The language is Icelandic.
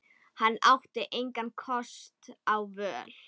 Hann átti engra kosta völ.